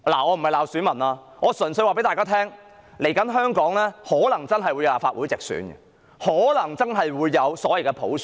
我並非罵選民，我只是告訴大家，香港未來可能真的會有立法會直選，可能真的會有所謂的普選。